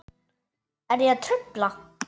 Er ég að trufla?